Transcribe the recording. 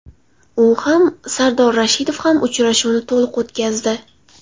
U ham, Sardor Rashidov ham uchrashuvni to‘liq o‘tkazdi.